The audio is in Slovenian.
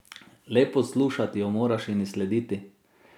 Le poslušati jo moraš in ji slediti.